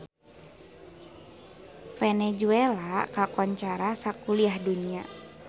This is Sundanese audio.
Venezuela kakoncara sakuliah dunya